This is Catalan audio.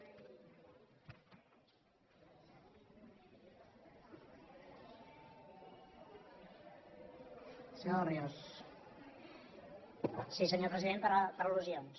sí senyor president per al·lusions